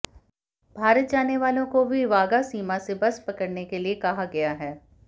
भारत जाने वालों को भी वाघा सीमा से बस पकड़ने के लिए कहा गया है